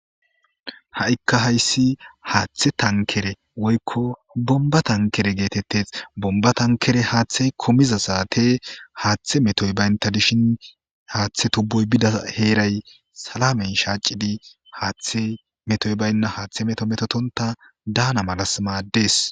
Ha'ika haysi haththe tankere wpoyko bomba tankere gettetes bomba tankere hathey kumiza satte hathe metto banta dishin haththe tuboyi Bida heray salamen shac'idi haththey metto bayina haththe metto metotonta Dana mala mades.